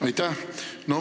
Aitäh!